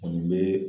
O bɛ